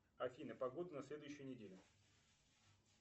афина погода на следующую неделю